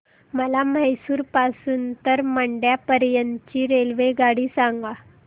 मला म्हैसूर पासून तर मंड्या पर्यंत ची रेल्वेगाडी सांगा